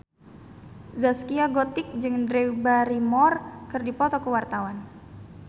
Zaskia Gotik jeung Drew Barrymore keur dipoto ku wartawan